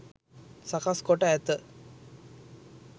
සකස් කොට ඇත.